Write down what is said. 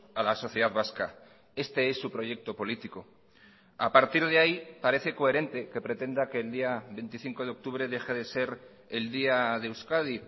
a la sociedad vasca este es su proyecto político a partir de ahí parece coherente que pretenda que el día veinticinco de octubre deje de ser el día de euskadi